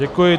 Děkuji.